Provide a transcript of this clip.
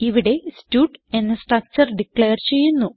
ഇവിടെ സ്റ്റഡ് എന്ന structure declare ചെയ്യുന്നു